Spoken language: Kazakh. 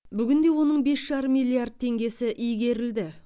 бүгінде оның бес жарым миллиард теңгесі игерілді